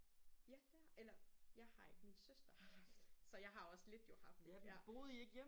Ja det har eller jeg har ikke min søster haft så jeg har også lidt jo haft ja